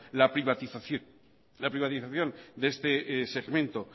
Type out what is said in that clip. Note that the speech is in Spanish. la privatización de este segmente